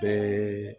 Ɛɛ